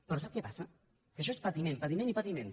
però sap què passa que això és patiment patiment i patiment